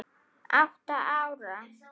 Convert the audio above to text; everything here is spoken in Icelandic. Átta ára.